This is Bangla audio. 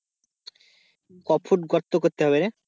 কফুট গর্ত করতে হবে রে?